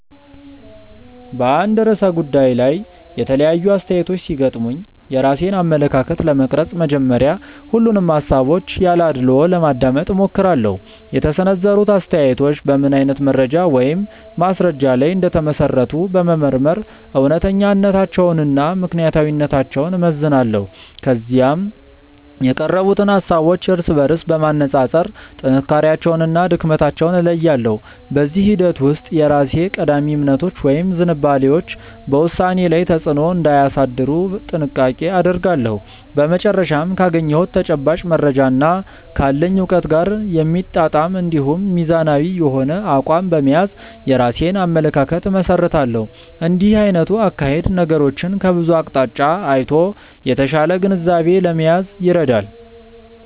በአንድ ርዕሰ ጉዳይ ላይ የተለያዩ አስተያየቶች ሲገጥሙኝ የራሴን አመለካከት ለመቅረጽ መጀመሪያ ሁሉንም ሃሳቦች ያለ አድልዎ ለማዳመጥ እሞክራለሁ። የተሰነዘሩት አስተያየቶች በምን አይነት መረጃ ወይም ማስረጃ ላይ እንደተመሰረቱ በመመርመር እውነተኛነታቸውንና ምክንያታዊነታቸውን እመዝናለሁ። ከዚያም የቀረቡትን ሃሳቦች እርስ በርስ በማነጻጸር ጥንካሬያቸውንና ድክመታቸውን እለያለሁ። በዚህ ሂደት ውስጥ የራሴ ቀዳሚ እምነቶች ወይም ዝንባሌዎች በውሳኔዬ ላይ ተጽዕኖ እንዳያሳድሩ ጥንቃቄ አደርጋለሁ። በመጨረሻም ካገኘሁት ተጨባጭ መረጃና ካለኝ እውቀት ጋር የሚጣጣም እንዲሁም ሚዛናዊ የሆነ አቋም በመያዝ የራሴን አመለካከት እመሰርታለሁ። እንዲህ አይነቱ አካሄድ ነገሮችን ከብዙ አቅጣጫ አይቶ የተሻለ ግንዛቤ ለመያዝ ይረዳል።